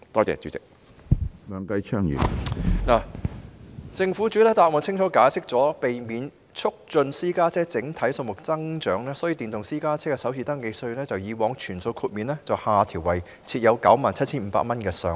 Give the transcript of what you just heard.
政府已在主體答覆清楚解釋，為了避免促進私家車整體數目增長，所以把電動私家車的首次登記稅由以往全數豁免下調為設有 97,500 元的上限。